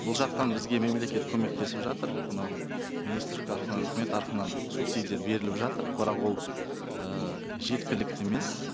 бұл жақтан бізге мемлекет көмектесіп жатыр мынау министрлік үкімет субсидия беріліп жатыр бірақ ол ііі жеткілікті емес